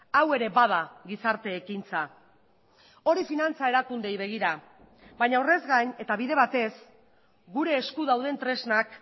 hau ere bada gizarte ekintza hori finantza erakundeei begira baina horrez gain eta bide batez gure esku dauden tresnak